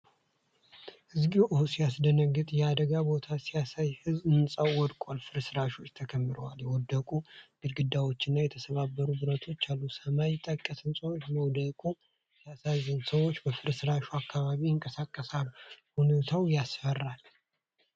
እግዚኦ ሲያስደነግጥ! የአደጋ ቦታ ሲያሳይ! ሕንፃው ወድቋል፣ ፍርስራሾችም ተከምረዋል። የወደቁ ግድግዳዎችና የተሰባበሩ ብረቶች አሉ። ሰማይ ጠቀስ ሕንፃው መውደቁ ሲያሳዝን! ሰዎች በፍርስራሹ አካባቢ ይንቀሳቀሳሉ። ሁኔታው ያስፈራል።